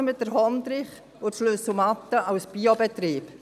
Verpachten wir den Hondrich und die Schlüsselmatte als Biobetrieb.